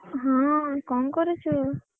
କଣ କରୁଛୁ?